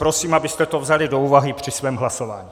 Prosím, abyste to vzali do úvahy při svém hlasování.